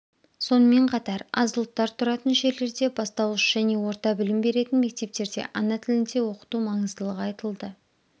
сонымен қатар аз ұлттар тұратын жерлерде бастауыш және орта білім беретін мектептерде ана тілінде оқыту маңыздылығы айтылды